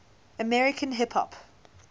american hip hop